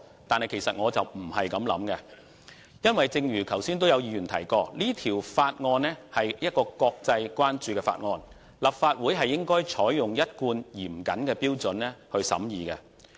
但是，其實我並非這樣想，因為正如剛才有議員所說，《條例草案》受國際關注，立法會應採用一貫嚴謹的標準來審議。